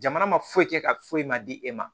Jamana ma foyi kɛ ka foyi ma di e ma